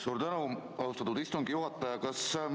Suur tänu, austatud istungi juhataja!